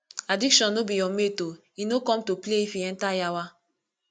addiction no be your mate o e no come to play if e enter yawa